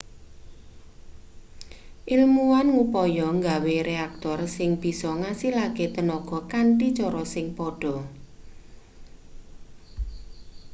ilmuwan ngupaya nggawe reaktor sing bisa ngasilake tenaga kanthi cara sing padha